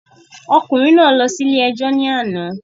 Ọkùnrin náà lọ síle ẹjọ́ ní àná